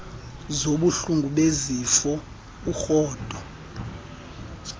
zobuhlungu besifuba urhudo